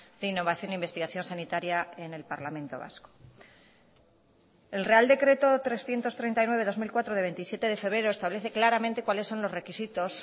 de innovación e investigación sanitaria en el parlamento vasco el real decreto trescientos treinta y nueve barra dos mil cuatro de veintisiete de febrero establece claramente cuáles son los requisitos